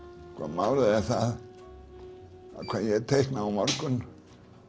málið er það að hvað ég teikna á morgun